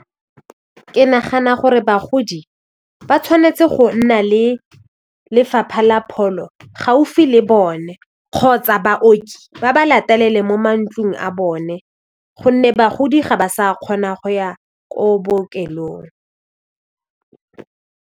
Ke nagana gore bagodi ba tshwanetse go nna le lefapha la pholo gaufi le bone kgotsa baoki ba ba latelele mo mantlong a bone gonne bagodi ga ba sa kgona go ya ko bookelong.